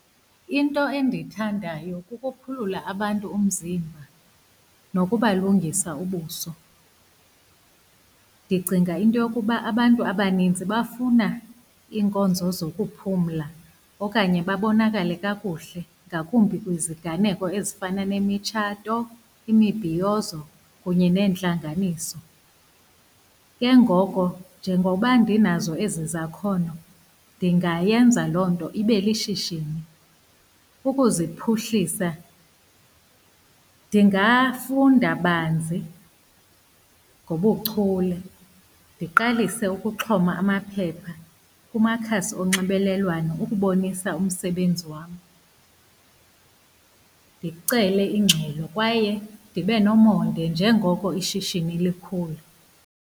Into endiyithandayo kukuphulula abantu umzimba, nokubalungisa ubuso. Ndicinga into yokuba abantu abaninzi bafuna iinkonzo zokuphumla okanye babonakale kakuhle, ngakumbi kwiziganeko ezifana nemitshato, imibhiyozo kunye neentlanganiso. Ke ngoko njengoba ndinazo ezi zakhono, ndingayenza loo nto ibe lishishini. Ukuziphuhlisa ndingafunda banzi ngobuchule. Ndiqalise ukuxhoma amaphepha kumakhasi onxibelelwano ukubonisa umsebenzi wam. Ndicele ingxelo kwaye ndibe nomonde njengoko ishishini likhula.